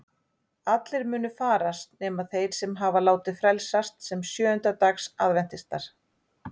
Allir munu farast nema þeir sem hafa látið frelsast sem sjöunda dags aðventistar.